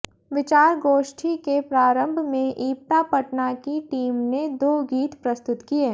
विचार गोष्ठी के प्रारम्भ में इप्टा पटना की टीम ने दो गीत प्रस्तुत किए